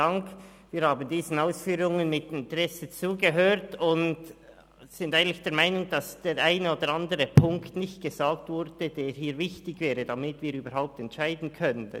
Wir haben diesen Ausführungen mit Interesse zugehört und sind eigentlich der Meinung, dass der eine oder andere Punkt nicht gesagt wurde, der hier jedoch wichtig wäre, damit wir überhaupt entscheiden können.